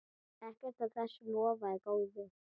Ekkert af þessu lofaði góðu.